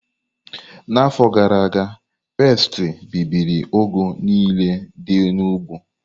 N'afọ gara aga, pesti bibiri ugu niile dị n'ugbo.